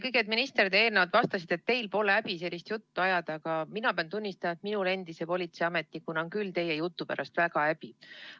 Kõigepealt, minister, te enne vastasite, et teil pole häbi sellist juttu ajada, aga mina pean tunnistama, et minul endise politseiametnikuna on küll teie jutu pärast väga häbi.